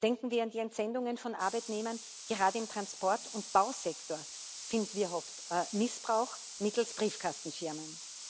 Denken wir an die Entsendungen von Arbeitnehmern gerade im Transport und Bausektor finden wir oft Missbrauch mittels Briefkastenfirmen.